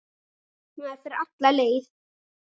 Maður fer alla leið.